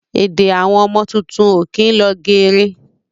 Èdè Àwọn ọmọ tuntun ó kín lọ geere